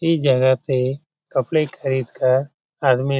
इ जगह पे कपड़े खरीद कर आदमी --